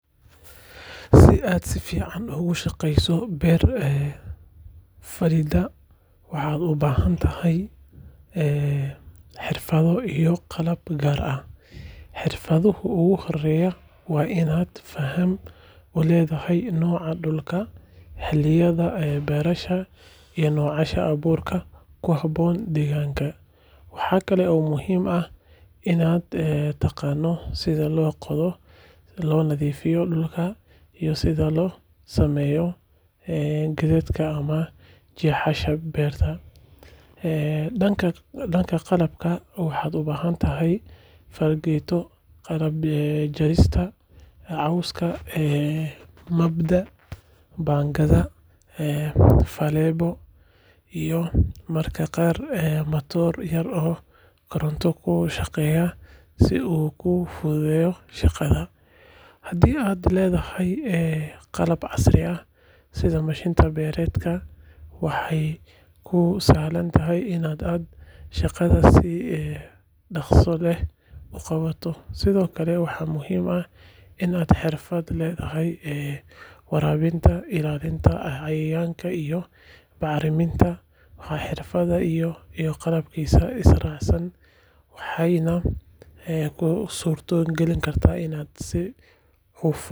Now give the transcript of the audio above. Si aad si fiican uga shaqeyso beer falidda, waxaad u baahan tahay xirfado iyo qalab gaar ah. Xirfadaha ugu horreeya waa inaad faham u leedahay nooca dhulka, xilliyada beerashada iyo noocyada abuurka ku habboon deegaankaaga. Waxa kale oo muhiim ah inaad taqaano sida loo qodo, loo nadiifiyo dhulka, iyo sida loo sameeyo khadadka ama jeexyada beerta. Dhanka qalabka, waxaad u baahan tahay fargeeto, qalab jarista cawska, mabda’, baangad, faleebo iyo mararka qaar matoor yar oo koronto ku shaqeeya si uu kuu fududeeyo shaqada. Haddii aad leedahay qalab casri ah sida mashiin beereed, waxay kuu sahlaysaa in aad shaqada si dhakhso leh u qabato. Sidoo kale waxaa muhiim ah in aad xirfad u leedahay waraabinta, ilaalinta cayayaanka iyo bacriminta. Marka xirfadaha iyo qalabkaasi is raacaan, waxay kuu suurto gelinayaan in aad si hufan.